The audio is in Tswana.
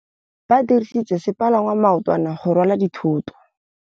Ba dirisitse sepalangwasa maotwana go rwala dithôtô.